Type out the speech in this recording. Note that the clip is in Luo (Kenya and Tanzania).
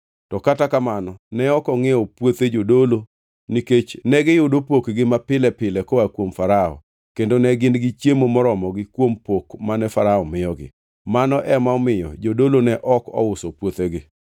To kata kamano ne ok ongʼiewo puothe jodolo nikech negiyudo pokgi mapile pile koa kuom Farao kendo ne gin gi chiemo moromogi kuom pok mane Farao miyogi. Mano ema omiyo jodolo ne ok ouso puothegi.